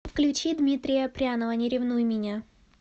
включи дмитрия прянова не ревнуй меня